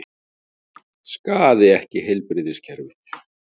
Skaði ekki heilbrigðiskerfið